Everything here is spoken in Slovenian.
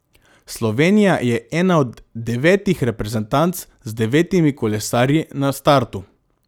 Slovenija je ena od devetih reprezentanc z devetimi kolesarji na startu.